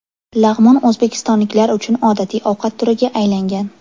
Lag‘mon o‘zbekistonliklar uchun odatiy ovqat turiga aylangan.